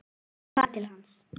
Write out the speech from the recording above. Ég hef farið til hans.